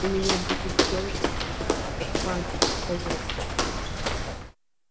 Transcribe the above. у меня других дел нету как память проверять